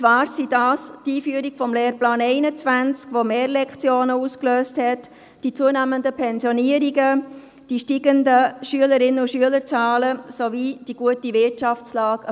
Es sind dies die Einführung des Lehrplans 21, der mehr Lektionen ausgelöst hat, die zunehmenden Pensionierungen, die steigenden Schülerinnen- und Schülerzahlen sowie die gute Wirtschaftslage.